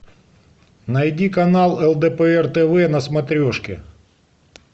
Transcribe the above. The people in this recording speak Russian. найди канал лдпр тв на смотрешке